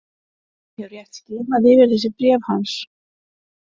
Ég hef rétt skimað yfir þessi bréf hans.